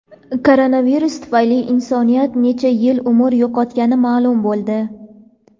Koronavirus tufayli insoniyat necha yil umr yo‘qotgani ma’lum bo‘ldi.